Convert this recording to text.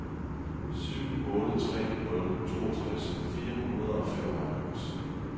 syv otte tre nul toogtres fire hundrede og femoghalvfems